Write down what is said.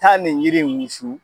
Taa ni jiri in wusu